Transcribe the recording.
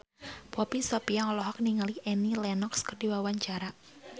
Poppy Sovia olohok ningali Annie Lenox keur diwawancara